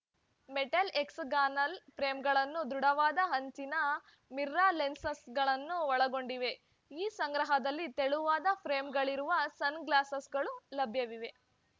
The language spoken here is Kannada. ಮೆಟಲ್‌ ಹೆಕ್ಸಾಗಾನಲ್‌ ಫ್ರೇಮ್‌ಗಳನ್ನು ದೃಢವಾದ ಅಂಚಿನ ಮಿರರ್‌ ಲೆನ್ಸ್‌ಗಳನ್ನು ಒಳಗೊಂಡಿದೆ ಈ ಸಂಗ್ರಹದಲ್ಲಿ ತೆಳುವಾದ ಫ್ರೇಮ್‌ಗಳಿರುವ ಸನ್‌ಗ್ಲಾಸ್‌ಗಳು ಲಭ್ಯವಿವೆ